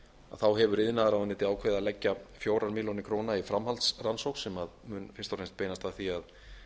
þá hefur iðnaðarráðuneytið ákveðið að leggja fjórar milljónir króna í framhaldsrannsókn sem mun fyrst og fram beinast að því að